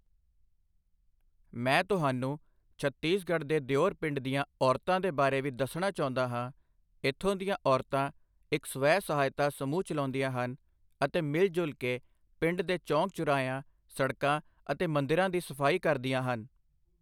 ਮੈਂ ਤੁਹਾਨੂੰ ਛੱਤੀਸਗੜ੍ਹ ਦੇ ਦੇਉਰ ਪਿੰਡ ਦੀਆਂ ਔਰਤਾਂ ਦੇ ਬਾਰੇ ਵੀ ਦੱਸਣਾ ਚਾਹੁੰਦਾ ਹਾਂ, ਇੱਥੋਂ ਦੀਆਂ ਔਰਤਾਂ ਇੱਕ ਸਵੈ ਸਹਾਇਤਾ ਸਮੂਹ ਚਲਾਉਂਦੀਆਂ ਹਨ ਅਤੇ ਮਿਲਜੁਲ ਕੇ ਪਿੰਡ ਦੇ ਚੌਂਕ ਚੁਰਾਹਿਆਂ, ਸੜਕਾਂ ਅਤੇ ਮੰਦਿਰਾਂ ਦੀ ਸਫ਼ਾਈ ਕਰਦੀਆਂ ਹਨ।